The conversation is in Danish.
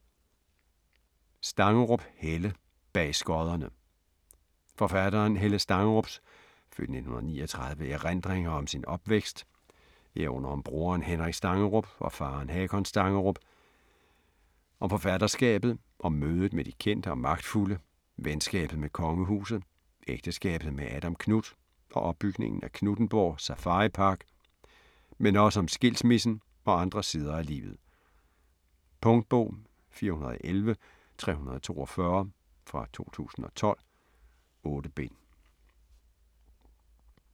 Stangerup, Helle: Bag skodderne Forfatteren Helle Stangerups (f. 1939) erindringer om sin opvækst, herunder om broren Henrik Stangerup og faren Hakon Stangerup, om forfatterskabet, om mødet med de kendte og magtfulde, venskabet med kongehuset, ægteskabet med Adam Knuth og opbygningen af Knuthenborg Safaripark, men også om skilsmissen og andre sider af livet. Punktbog 411342 2012. 8 bind.